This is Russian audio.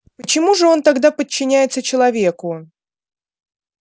почему же он тогда подчиняется человеку